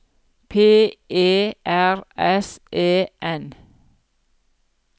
P E R S E N